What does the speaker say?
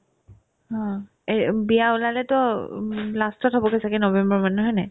হ, এ বিয়া ওলালেতো ওব last ত হ'বগে ছাগে november মানত হয়নে নাই ?